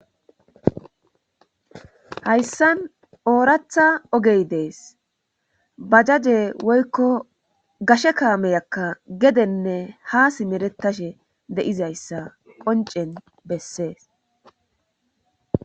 hayssan oorata ogey des;bajajae woyko gashe kaamiyaka gedenne ha simeretashe de7izayssa qonccen besses.